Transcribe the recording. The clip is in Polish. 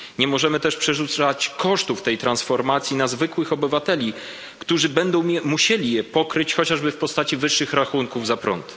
Nie możemy też przerzucać kosztów tej transformacji na zwykłych obywateli, którzy będą musieli je pokryć, chociażby w postaci wyższych rachunków za prąd.